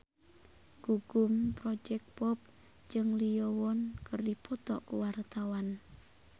Gugum Project Pop jeung Lee Yo Won keur dipoto ku wartawan